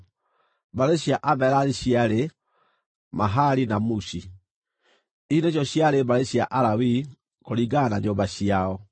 Mbarĩ cia Amerari: ciarĩ Mahali na Mushi. Ici nĩcio ciarĩ mbarĩ cia Alawii, kũringana na nyũmba ciao.